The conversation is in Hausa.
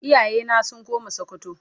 iyaye na sun koma sokoto.